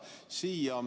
Sa ei pea rääkima.